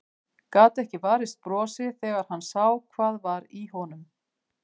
Gat ekki varist brosi þegar hann sá hvað var í honum.